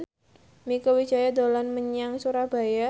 Mieke Wijaya dolan menyang Surabaya